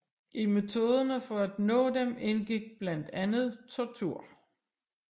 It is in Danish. I metoderne for at nå dem indgik blandt andet tortur